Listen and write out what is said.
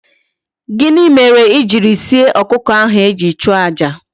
Gini mere ijiri sie okuko ahu eji chuo aja?